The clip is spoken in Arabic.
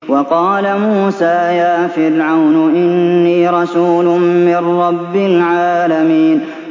وَقَالَ مُوسَىٰ يَا فِرْعَوْنُ إِنِّي رَسُولٌ مِّن رَّبِّ الْعَالَمِينَ